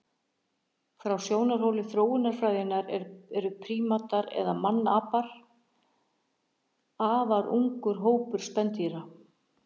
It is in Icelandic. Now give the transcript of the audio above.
Frá sjónarhóli þróunarfræðinnar eru prímatar eða mannapar afar ungur hópur spendýra.